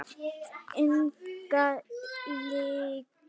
Enga lygi.